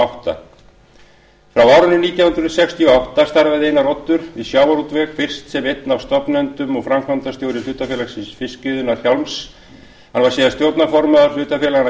átta frá árinu nítján hundruð sextíu og átta starfaði einar oddur við sjávarútveg fyrst sem einn af stofnendum og framkvæmdastjóri hlutafélags fiskiðjunnar hjálms hann var síðar stjórnarformaður hlutafélaganna